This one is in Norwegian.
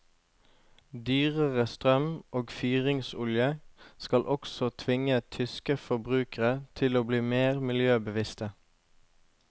Dyrere strøm og fyringsolje skal også tvinge tyske forbrukere til å bli mer miljøbevisste.